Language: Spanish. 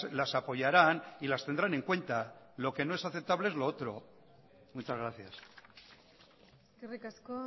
las apoyarán y las tendrán en cuenta lo que no es aceptable es lo otro muchas gracias eskerrik asko